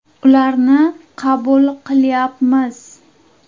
Ularni qabul qilyapmiz.